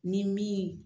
Ni min